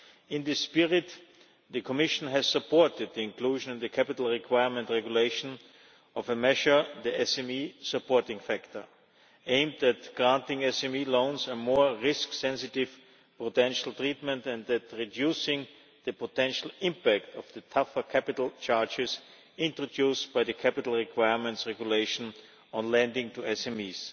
In this spirit, the Commission has supported the inclusion in the Capital Requirement Regulation of a measure the SME supporting factor aimed at granting loans to SMEs and giving them more risk sensitive potential treatment, and thus reducing the potential impact of the tougher capital charges introduced by the Capital Requirements Regulation on lending to SMEs.